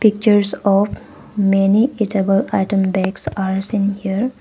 Pictures of many eatable item bags are seen here.